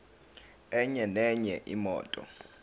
enye nenye imoto